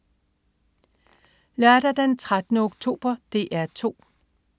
Lørdag den 13. oktober - DR 2: